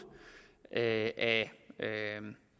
af